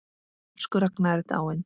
Elsku Ragna er dáin.